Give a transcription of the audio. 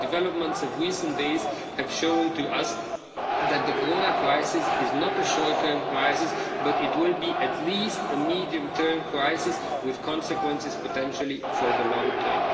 The developments of recent days have shown to us that the Corona crisis is not a short term crisis, but it will be at least a medium term crisis, with consequences, potentially, for the long term.